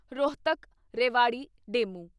Rohtak Rewari DEMU